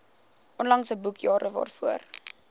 onlangse boekjare waarvoor